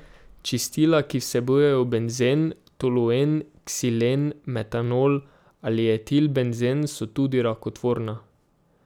Čistila, ki vsebujejo benzen, toluen, ksilen, metanol ali etilbenzen, so tudi rakotvorna.